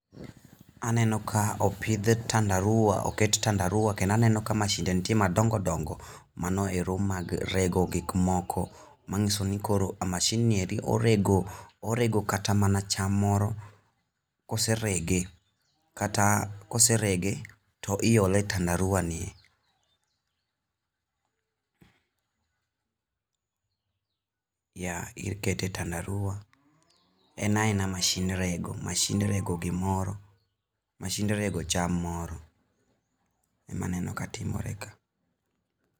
Aneno ka opidh tandaruwa, oket tandaruwa kendo aneno ka mashide nitie madongo dongo mano ero mag rego gik moko, mangiso ni koro mashind nie orego, orego kata cham moro, koserege, kata koserege to iole e tandaruwa ni yeah ikete e tandaruwa, en aena mashin rego, mashin rego gimoro, mashin rego cham moro, ema aneno ka timore ka.